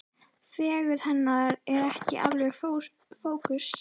Fegurð hennar er ekki alveg í fókus.